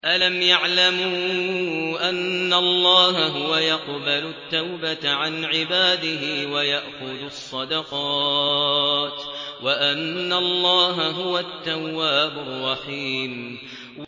أَلَمْ يَعْلَمُوا أَنَّ اللَّهَ هُوَ يَقْبَلُ التَّوْبَةَ عَنْ عِبَادِهِ وَيَأْخُذُ الصَّدَقَاتِ وَأَنَّ اللَّهَ هُوَ التَّوَّابُ الرَّحِيمُ